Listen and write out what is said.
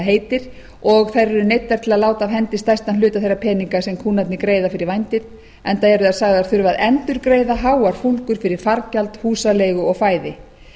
heitir og þær eru neyddar til að láta af hendi stærstan hluta þeirra peninga sem kúnnarnir greiða fyrir vændið enda eru þær sagðar þurfa að endurgreiða háar fúlgur fyrir fargjald húsaleigu og fæði